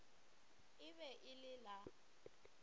e be e le la